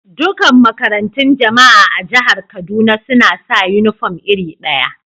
Dukan makarantun Jama'a a Jihar Kaduna suna sa uniform iri daya.